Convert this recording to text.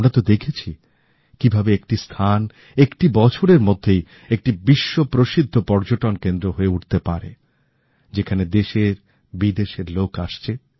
আমরা তো সাক্ষী কিভাবে একটি স্থান একটি বছরের মধ্যেই একটি বিশ্ব প্রসিদ্ধ পর্যটন কেন্দ্র হয়ে উঠতে পারে যেখানে দেশের বিদেশের লোক আসছে